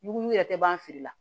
Ɲugu yɛrɛ tɛ ban fili la